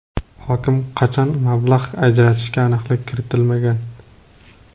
Hokim qachon mablag‘ ajratishiga aniqlik kiritilmagan.